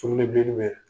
Sugunɛbilennin bɛ